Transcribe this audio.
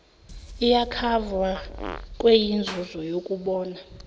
iyokhavwa kweyenzuzo yokubona